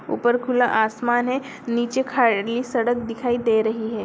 ऊपर खुला आसमान है नीचे खा- ली सड़क दिखाई दे रही है।